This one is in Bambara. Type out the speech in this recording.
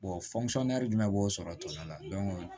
jumɛn b'o sɔrɔ tɔn la